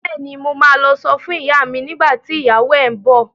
Bẹ́ẹ̀ni, mo ma lọ sọ fún ìyá mi nígbà tí ìyàwó ẹ ń bọ̀